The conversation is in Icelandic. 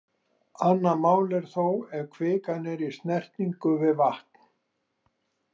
Annað mál er þó ef kvikan er í snertingu við vatn.